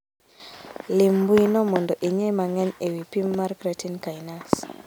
Lim mbui no mondo ing'e mang'eny e wi pim mar creatine kinase